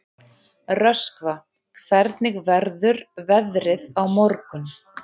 Röskva, hvernig verður veðrið á morgun?